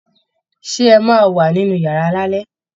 Ṣé ẹ máa wà nínú yàrá lálẹ́?